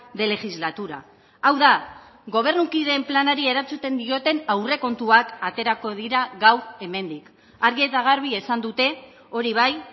de legislatura hau da gobernukideen planari erantzuten dioten aurrekontuak aterako dira gaur hemendik argi eta garbi esan dute hori bai